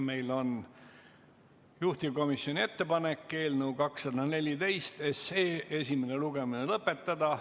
Meil on juhtivkomisjoni ettepanek eelnõu 214 esimene lugemine lõpetada.